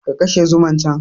Ka kashe zuman can!